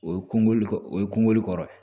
O ye kungolo o ye kungo le kɔrɔ ye